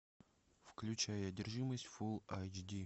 включай одержимость фул айч ди